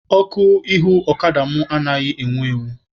Ọkụ ihu ọkada mụ anaghị enwu enwu.